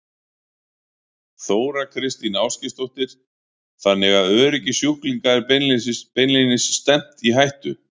Þóra Kristín Ásgeirsdóttir: Þannig að öryggi sjúklinga er beinlínis stefnt í hættu?